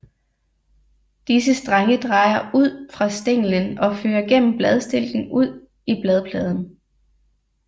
Disse strenge drejer ud fra stænglen og fører gennem bladstilken ud i bladpladen